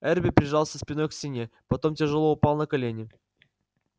эрби прижался спиной к стене потом тяжело упал на колени